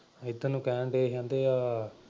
ਇਧਰ ਨੂੰ ਕਹਿਣ ਡੈ ਕਹਿੰਦੇ ਆ।